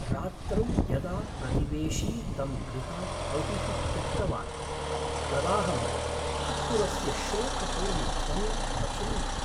रात्रौ यदा प्रतिवेशी तं गृहात् बहिः त्यक्तवान् तदाहं कुक्कुरस्य शोकपूर्णध्वनिम् अशृणवम्।